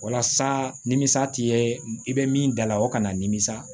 Walasa nimisa ti ye i bɛ min dala o kana nimisa